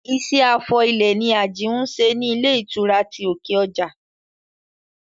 Iṣẹ́ afọ ilẹ̀ ni Àjìún ń ṣe ní ilé ìtura ti òkè ọjà